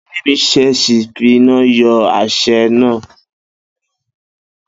Bídèmí s̩ès̩ì fi iná yó̩ asé̩ náà